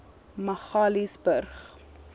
magaliesburg